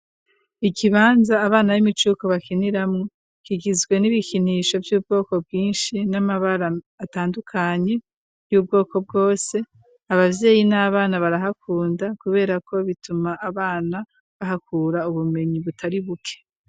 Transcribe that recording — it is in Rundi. Ikibanza abana b'imicuko bakiniramo kigizwe n'ibikinisho Vy'ubwoko bwinshi n'amabara atandukanye y'ubwoko bwose ababyeyi n'abana barahakunda kubera ko bituma abana bahakura ubumenyi butari buke.